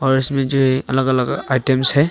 और इसमे जो ये अलग अलग आइटम्स है।